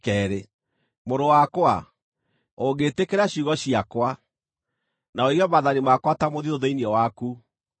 Mũrũ wakwa, ũngĩtĩkĩra ciugo ciakwa, na ũige maathani makwa ta mũthiithũ thĩinĩ waku,